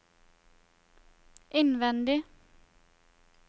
innvendig